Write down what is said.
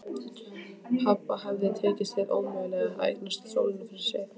Pabba hafði tekist hið ómögulega: að eignast sólina fyrir sig.